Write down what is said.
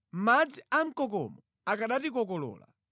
madzi a mkokomo akanatikokolola.